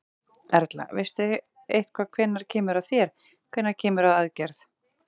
Erla: Veistu eitthvað hvenær kemur að þér, hvenær kemur að aðgerð?